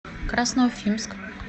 красноуфимск